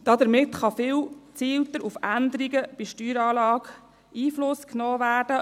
Damit kann viel gezielter auf Änderungen bei Steueranlagen Einfluss genommen werden.